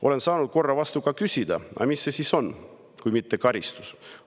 Olen saanud korra vastu küsida, aga mis see siis on kui mitte karistus.